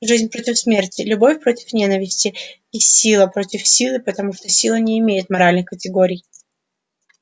жизнь против смерти любовь против ненависти и сила против силы потому что сила не имеет моральных категорий